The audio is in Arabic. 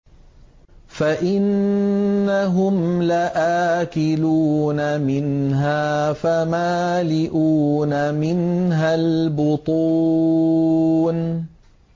فَإِنَّهُمْ لَآكِلُونَ مِنْهَا فَمَالِئُونَ مِنْهَا الْبُطُونَ